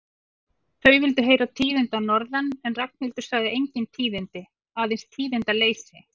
Þau vildu heyra tíðindi að norðan en Ragnhildur sagði engin tíðindi, aðeins tíðindaleysi.